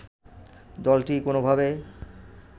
দলটি কোনোভাবে